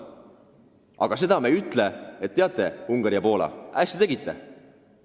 Aga seda me ei ütle, et, Ungari ja Poola, hästi tegite!